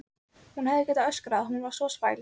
Hún hefði getað öskrað, hún var svo spæld.